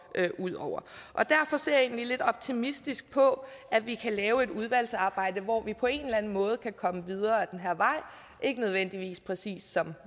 ud over derfor ser jeg egentlig lidt optimistisk på at vi kan lave et udvalgsarbejde hvor vi på en eller anden måde kan komme videre ad den her vej ikke nødvendigvis præcis som